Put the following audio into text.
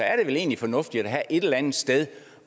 er det vel egentlig fornuftigt at have et eller andet sted